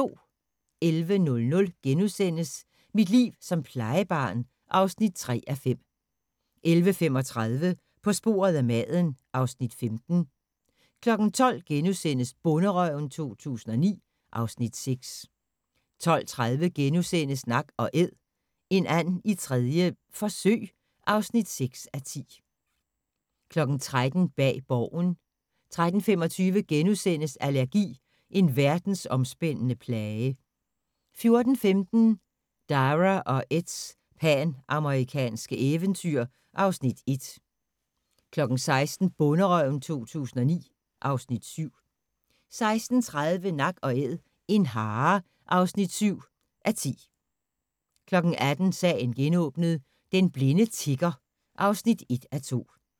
11:00: Mit liv som plejebarn (3:5)* 11:35: På sporet af maden (Afs. 15) 12:00: Bonderøven 2009 (Afs. 6)* 12:30: Nak & Æd – en and 3. forsøg (6:10)* 13:00: Bag Borgen 13:25: Allergi – en verdensomspændende plage * 14:15: Dara og Eds panamerikanske eventyr (Afs. 1) 16:00: Bonderøven 2009 (Afs. 7) 16:30: Nak & Æd – en hare (7:10) 18:00: Sagen genåbnet: Den blinde tigger (1:2)